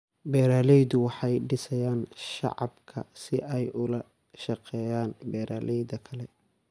Beeraleydu waxay dhisayaan shabakad si ay ula shaqeeyaan beeralayda kale.